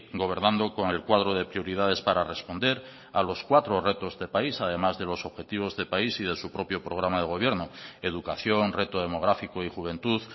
gobernando con el cuadro de prioridades para responder a los cuatro retos de país además de los objetivos de país y de su propio programa de gobierno educación reto demográfico y juventud